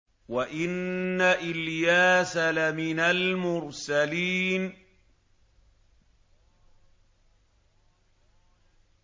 وَإِنَّ إِلْيَاسَ لَمِنَ الْمُرْسَلِينَ